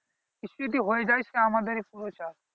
কিছু যদি হয়ে যায় সেই আমাদেরই পুরো চাপ